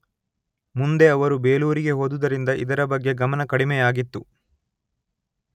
ಮುಂದೆ ಅವರು ಬೇಲೂರಿಗೆ ಹೋದುದರಿಂದ ಇದರ ಬಗ್ಗೆ ಗಮನ ಕಡಿಮೆಯಾಗಿತ್ತು.